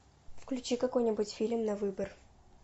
включи какой нибудь фильм на выбор